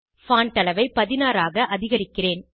fontஅளவை 16 ஆக அதிகரிக்கிறேன்